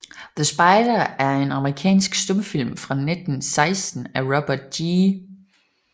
The Spider er en amerikansk stumfilm fra 1916 af Robert G